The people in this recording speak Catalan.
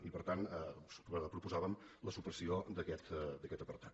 i per tant proposàvem la supressió d’aquest apartat